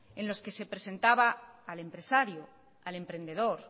en los que se presentaba al empresario al emprendedor